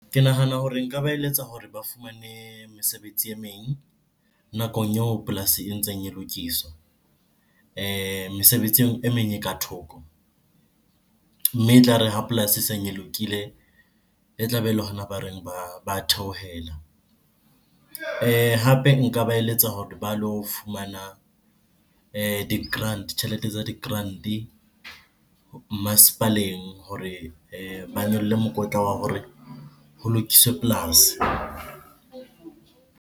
Ke nahana hore nka ba eletsa hore ba fumane mesebetsi e meng nakong eo polasi e ntseng e lokiswa, mesebetsi e meng e ka thoko. Mme e tlare ha polasi eseng e lokile, e tlabe e le hona ba reng ba theohela. Hape nka ba eletsa hore ba lo fumana di-grant-e, tjhelete tsa di-grant-e masepaleng hore ba nyolle mokotla wa hore ho lokiswe polasi.